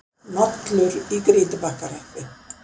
Nollur í Grýtubakkahreppi.